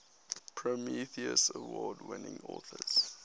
prometheus award winning authors